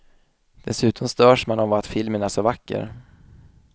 Dessutom störs man av att filmen är så vacker.